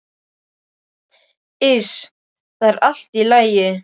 Iss, það er allt í lagi.